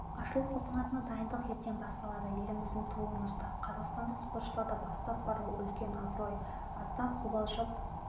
ашылу салтанатына дайындық ертең басталады еліміздің туын ұстап қазақстандық спортшыларды бастап бару үлкен абырой аздап қобалжып